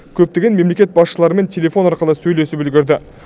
көптеген мемлекет басшыларымен телефон арқылы сөйлесіп үлгерді